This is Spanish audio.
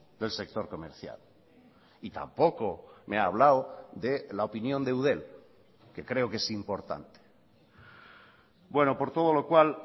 del sector comercial y tampoco me ha hablado de la opinión de eudel que creo que es importante bueno por todo lo cual